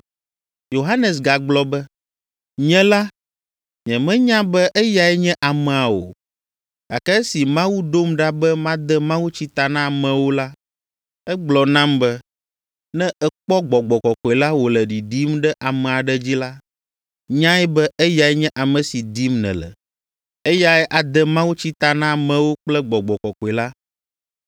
Yohanes gagblɔ be, “Nye la, nyemenya be eyae nye amea o, gake esi Mawu ɖom ɖa be made mawutsi ta na amewo la, egblɔ nam be, ‘Ne èkpɔ Gbɔgbɔ Kɔkɔe la wòle ɖiɖim ɖe ame aɖe dzi la, nyae be eyae nye ame si dim nèle. Eyae ade mawutsi ta na amewo kple Gbɔgbɔ Kɔkɔe la.’